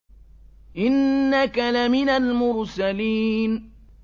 إِنَّكَ لَمِنَ الْمُرْسَلِينَ